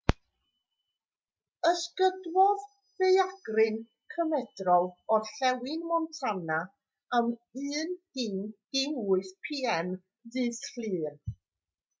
ysgydwodd ddaeargryn cymedrol orllewin montana am 10:08 p.m. ddydd llun